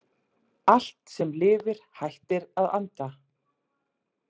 Allt sem lifir hættir að anda.